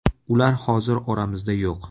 Ular hozir oramizda yo‘q.